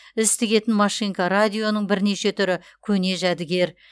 іс тігетін машинка радионың бірнеше түрі көне жәдігер